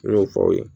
N y'o fɔ aw ye